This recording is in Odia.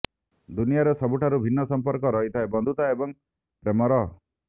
ଦୁନିଆରେ ସବୁଠାରୁ ଭିନ୍ନ ସଂପର୍କ ରହିଥାଏ ବନ୍ଧୁତା ଏବଂ ପ୍ରେମର